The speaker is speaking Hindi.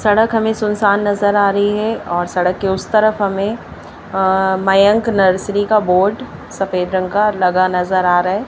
सड़क हमें सुनसान नजर आ रही है और सड़क के उस तरफ हमें अ मयंक नर्सरी का बोर्ड सफेद रंग का लगा नजर आ रहा है।